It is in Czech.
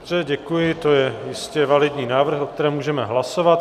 Dobře, děkuji, to je jistě validní návrh, o kterém můžeme hlasovat.